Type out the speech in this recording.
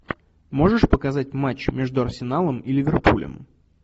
можешь показать матч между арсеналом и ливерпулем